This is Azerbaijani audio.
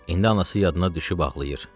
İndi anası yadına düşüb ağlayır.